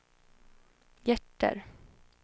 hjärter